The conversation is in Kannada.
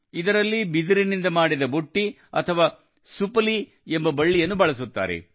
ಇದರಲ್ಲಿ ಬಿದಿರಿನಿಂದ ಮಾಡಿದ ಬುಟ್ಟಿ ಅಥವಾ ಸುಪಲಿ ಎಂಬ ಬಳ್ಳಿಯನ್ನು ಬಳಸುತ್ತಾರೆ